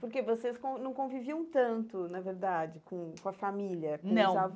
Porque vocês con não conviviam tanto, na verdade, com com a família, não com os